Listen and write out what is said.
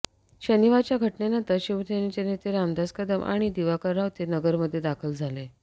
शनिवारच्या घटनेनंतर शिवसेनेचे नेते रामदास कदम आणि दिवाकर रावते नगरमध्ये दाखल झाले